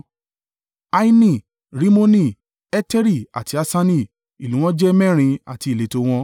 Aini, Rimoni, Eteri àti Aṣani, ìlú wọn jẹ́ mẹ́rin àti ìletò wọn,